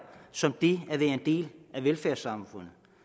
som det at være en del af velfærdssamfundet